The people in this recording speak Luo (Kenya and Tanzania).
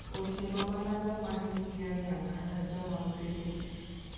Oting'o mana joma hikgi oniang' kata joma oseti.